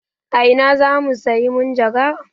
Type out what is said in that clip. A ina zamu sayi majagaran?